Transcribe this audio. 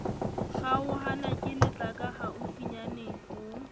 kgaolwa ke letlaka haufinyane ho